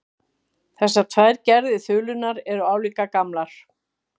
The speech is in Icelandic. Þessar tvær gerðir þulunnar eru álíka gamlar.